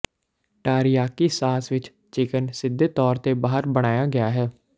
teriyaki sauce ਵਿੱਚ chicken ਸਿੱਧੇ ਤੌਰ ਤੇ ਬਾਹਰ ਬਣਾਇਆ ਗਿਆ ਹੈ